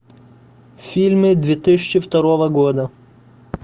фильмы две тысячи второго года